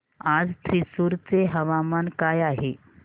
आज थ्रिसुर चे हवामान काय आहे